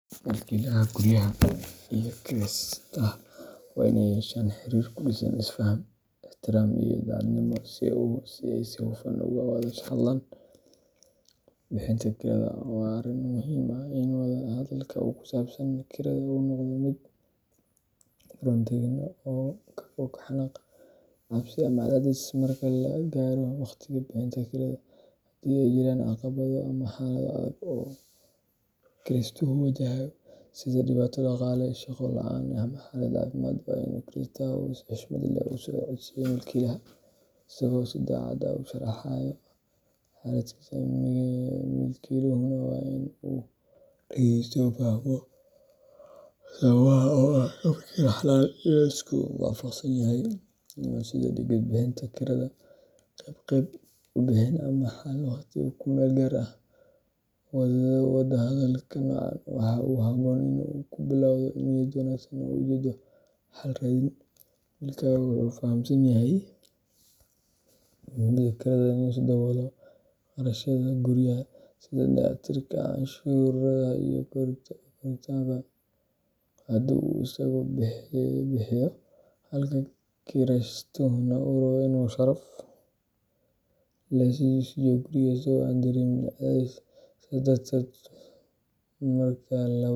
Milkiilaha guryaha iyo kiraystaha waa in ay yeeshaan xiriir ku dhisan is-faham, ixtiraam iyo daacadnimo si ay si hufan uga wada hadlaan bixinta kirada. Waa arrin muhiim ah in wada-hadalka ku saabsan kirada uu noqdo mid furan, deggan, oo ka fog xanaaq, cabsi ama cadaadis. Marka la gaaro waqtiga bixinta kirada, haddii ay jiraan caqabado ama xaalado adag oo kiraystuhu wajahayo, sida dhibaato dhaqaale, shaqo la’aan ama xaalad caafimaad, waa in kiraystuhu si xushmad leh ula socodsiiyo milkiilaha, isagoo si daacad ah u sharraxaya xaaladdiisa. Milkiiluhuna waa in uu dhageysto, fahmo sababaha, oo uu ka fekero xalal la isku waafaqsan yahay sida dib u dhigid bixinta kirada, qeyb qeyb u bixin, ama xal waqti ku-meel-gaar ah. Wada hadalka noocan ah waxaa habboon in uu ka bilowdo niyad wanaagsan iyo ujeeddo xal raadin. Milkiilaha wuxuu fahamsan yahay muhiimadda kirada si uu u daboolo kharashyada guryaha, sida dayactirka, canshuuraha, iyo korontada haddii uu isagu bixiyo, halka kiraystuhuna uu rabo in uu si sharaf leh u sii joogo guriga isagoo aan dareemin cadaadis. Sidaas darteed, marka labada dhinac.